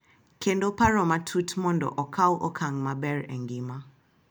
Kendo paro matut mondo okaw okang’ maber e ngima .